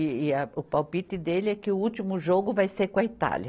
E, e a, o palpite dele é que o último jogo vai ser com a Itália.